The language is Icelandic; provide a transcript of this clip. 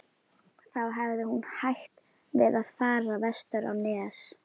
Þá hefði hún hætt við að fara vestur á Nes.